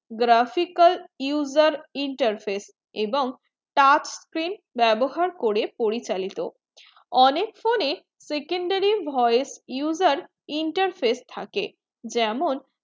graphical user interface এবং touch বেবহার করে পরিচালিত অনেক phone এ secondary voice user interface থাকে যেমন